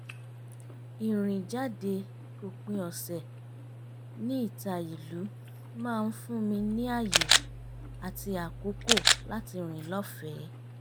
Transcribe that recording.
ìrìn jáde òpin ọ̀sẹ̀ ní ìta ìlú maá ń fún mi ní ààyè àti àkókò láti rìn lọ́fẹ̀ẹ́